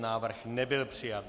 Návrh nebyl přijat.